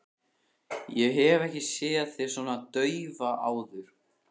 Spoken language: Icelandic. Ég hef ekki séð þig svona daufa áður.